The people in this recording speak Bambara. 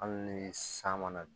Hali ni san mana na dun